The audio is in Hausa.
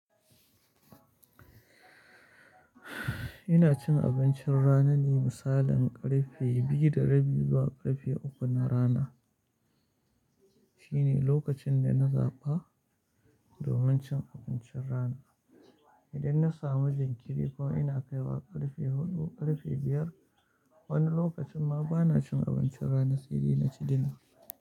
Ina cin abincin rana ne misalin ƙarfe biyu da rabi zuwa ƙarfe uku na rana. Shine lokacin da na zaɓa domin cin abincin rana. Idan na samu jinkiri kuma ina kaiwa ƙarfe huɗu, ƙarfe biyar, wani lokacin ma bana cin abincin rana sai dsi inci dina.